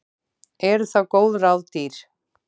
Eru þá góð ráð dýr.